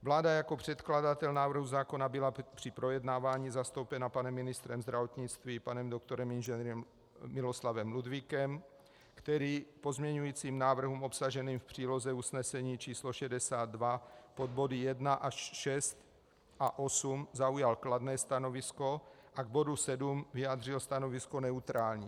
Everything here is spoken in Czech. Vláda jako předkladatel návrhu zákona byla při projednávání zastoupena panem ministrem zdravotnictví, panem doktorem Ing. Miloslavem Ludvíkem, který k pozměňujícím návrhům obsaženým v příloze usnesení číslo 62 pod body 1 až 6 a 8 zaujal kladné stanovisko a k bodu 7 vyjádřil stanovisko neutrální.